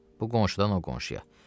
Bu qonşudan o qonşuya.